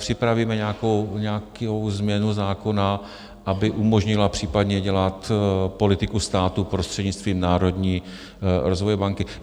Připravíme nějakou změnu zákona, aby umožnila případně dělat politiku státu prostřednictvím Národní rozvojové banky.